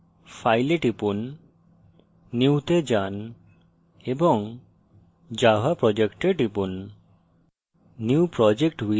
সুতরাং file এ টিপুন new তে যান এবং java project এ টিপুন